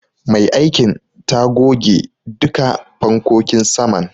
Mai aikin ta goge duka fankokin saman.